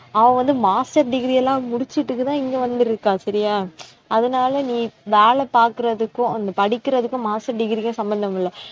அவ வந்து master degree எல்லாம் முடிச்சிட்டுத்தான் இங்கே வந்திருக்கா சரியா அதனாலே நீ வேலை பார்க்கிறதுக்கும் வந்து படிக்கிறதுக்கும் master degree க்கும் சம்பந்தம் இல்லை